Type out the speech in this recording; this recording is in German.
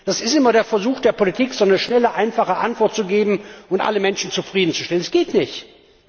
Es ist immer der Versuch der Politik, eine schnelle, einfache Antwort zu geben, und alle Menschen zufriedenzustellen. Das geht aber nicht!